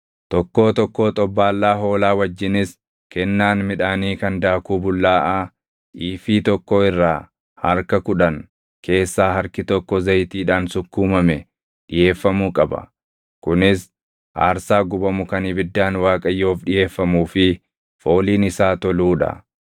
tokkoo tokkoo xobbaallaa hoolaa wajjinis kennaan midhaanii kan daakuu bullaaʼaa iifii tokkoo irraa harka kudhan keessaa harki tokko zayitiidhaan sukkuumame dhiʼeeffamuu qaba. Kunis aarsaa gubamu kan ibiddaan Waaqayyoof dhiʼeeffamuu fi fooliin isaa toluu dha.